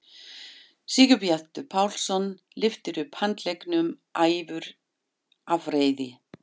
Sigurbjartur Pálsson lyftir upp handleggnum æfur af reiði.